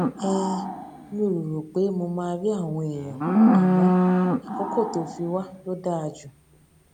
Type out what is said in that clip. um mi ò rò rò pé mo máa rí àwọn èèyàn àmó àkókò tó fi wá ló dáa jù